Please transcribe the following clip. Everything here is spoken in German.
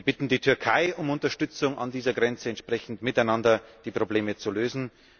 Wir bitten die Türkei um Unterstützung, an dieser Grenze entsprechend miteinander die Probleme zu lösen.